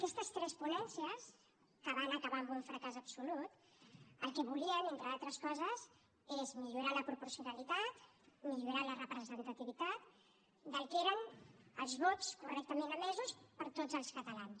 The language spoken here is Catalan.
aquestes tres ponències que van acabar amb un fracàs absolut el que volien entre d’altres coses és millorar la proporcionalitat millorar la representativitat del que eren els vots correctament emesos per tots els catalans